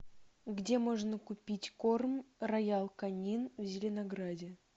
где можно купить корм роял канин в зеленограде